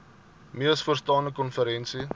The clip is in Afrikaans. mees vooraanstaande konferensie